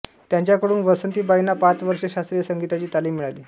त्यांच्याकडून वासंतीबाईंना पाच वर्षे शास्त्रीय संगीताची तालीम मिळाली